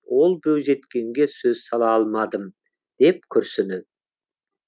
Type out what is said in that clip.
ол бойжеткенге сөз сала алмадым деді күрсініп